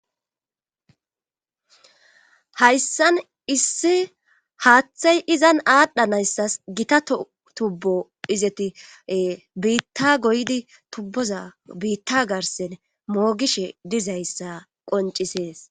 hayssan issi haaththey izan aadhdhanayssas gita tubbo izeti biitta goydi tubboza biitta garsen moogishe dizayssa qoncisees